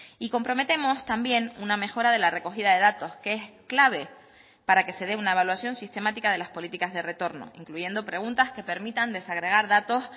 y comprometemos también una mejora de la recogida de datos que es clave para que se dé una evaluación sistemática de las políticas de retorno incluyendo preguntas que permitan desagregar datos